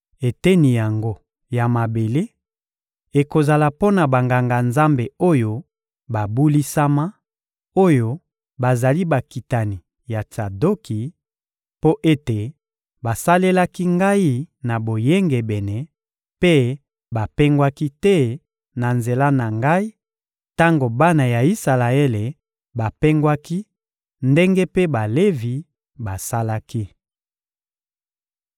Eteni yango ya mabele ekozala mpo na Banganga-Nzambe oyo babulisama, oyo bazali bakitani ya Tsadoki, mpo ete basalelaki Ngai na boyengebene mpe bapengwaki te na nzela na Ngai tango bana ya Isalaele bapengwaki ndenge mpe Balevi basalaki.